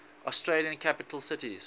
australian capital cities